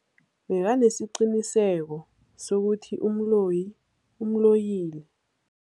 Bekanesiqiniseko sokuthi umloyi umloyile.